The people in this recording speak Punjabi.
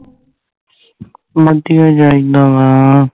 ਜਿਹਾ ਇਨਾ ਵਾਂ